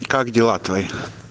как дела твои